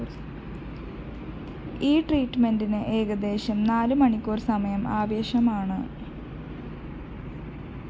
ഈ ട്രീറ്റ്‌മെന്റിന് ഏകദേശം നാലുമണിക്കൂര്‍ സമയം ആവശ്യമാണ്